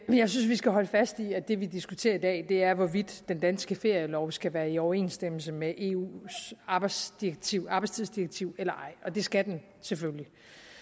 jeg synes vi skal holde fast i at det vi diskuterer i dag er hvorvidt den danske ferielov skal være i overensstemmelse med eus arbejdstidsdirektiv arbejdstidsdirektiv eller ej og det skal den selvfølgelig